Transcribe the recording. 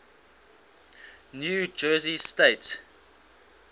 new jersey state